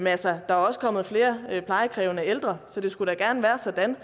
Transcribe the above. altså der er også kommet flere plejekrævende ældre så det skulle da gerne være sådan og